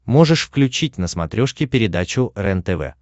можешь включить на смотрешке передачу рентв